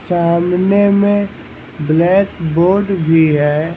सामने में blackboard भी है।